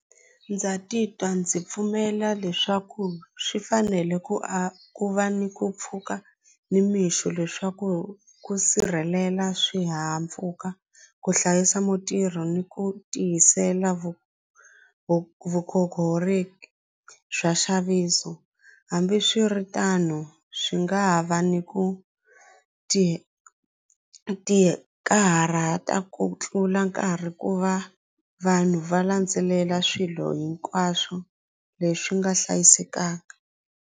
Ndza titwa ndzi pfumela leswaku swi fanele ku a ku va ni ku pfuka nimixo leswaku ku sirhelela swihahampfhuka ku hlayisa mutirhi ni ku tiyisela vu vu bya nxaviso hambiswiritano swi nga ha va ni ku ti ti karhata ku tlula nkarhi ku va vanhu va landzelela swilo hinkwaswo leswi nga hlayisekanga.